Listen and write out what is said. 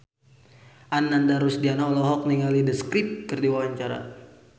Ananda Rusdiana olohok ningali The Script keur diwawancara